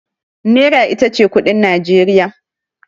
Nera ita ce kuɗin Najeriya.